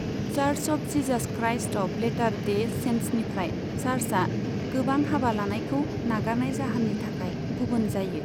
Church of Jesus Christ of Latter Day सेन्ट्सनिफ्राय चार्चआ गोबां हाबा लानायखौ नागारनाय जाहोननि थाखाय गुबुन जायो।